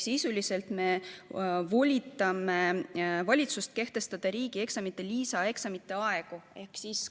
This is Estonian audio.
Sisuliselt me volitame valitsust kehtestama riigieksamite lisaeksamite aegu.